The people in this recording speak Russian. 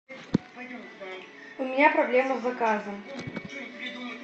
у меня проблема с заказом